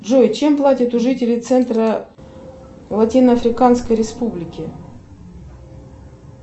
джой чем платят жители центра латиноафриканской республики